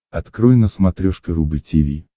открой на смотрешке рубль ти ви